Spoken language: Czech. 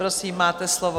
Prosím, máte slovo.